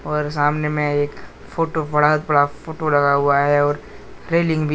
और सामने में एक फोटो बड़ा बड़ा फोटो लगा हुआ है और रेलिंग भी है।